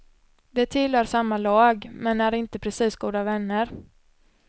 De tillhör samma lag, men är inte precis goda vänner.